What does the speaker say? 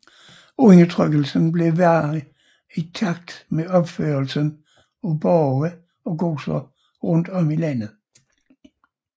Undertrykkelsen blev værre i takt med opførelsen af borge og godser rundt om i landet